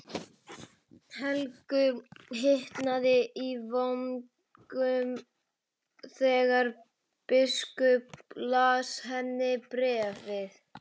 Helgu hitnaði í vöngum þegar biskup las henni bréfið.